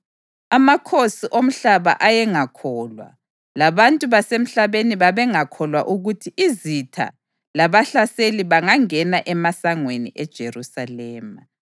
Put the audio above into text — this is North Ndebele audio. Amakhosi omhlaba ayengakholwa, labantu basemhlabeni babengakholwa ukuthi izitha labahlaseli bangangena emasangweni eJerusalema.